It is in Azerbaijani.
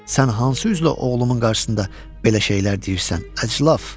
Sən hansı üzlə oğlumun qarşısında belə şeylər deyirsən, əclaf?